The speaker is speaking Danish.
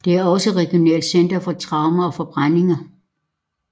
Det er også et regionalt center for traumer og forbrændinger